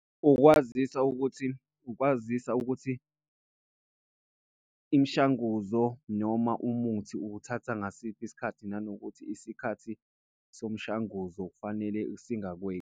Ukwazisa ukuthi, ukwazisa ukuthi imishanguzo noma umuthi uwuthatha ngasiphi isikhathi, nanokuthi isikhathi somshanguzo kufanele singakweqi.